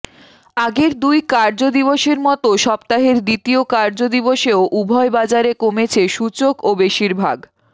আগের দুই কার্যদিবসের মতো সপ্তাহের দ্বিতীয় কার্যদিবসেও উভয় বাজারে কমেছে সূচক ও বেশির ভাগ